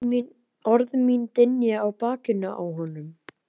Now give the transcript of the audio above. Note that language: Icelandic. Orð mín dynja á bakinu á honum.